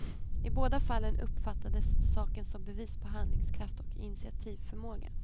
I båda fallen uppfattades saken som bevis på handlingskraft och initiativförmåga.